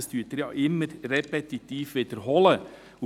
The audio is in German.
Das wiederholen Sie ja immer wieder repetitiv.